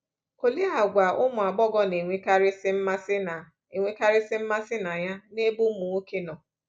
Olee àgwà ụmụ agbọghọ na-enwekarịsị mmasị na-enwekarịsị mmasị na ya n’ebe ụmụ nwoke nọ?